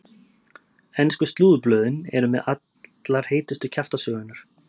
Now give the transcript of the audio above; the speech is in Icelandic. Ensku slúðurblöðin eru með allar heitustu kjaftasögurnar.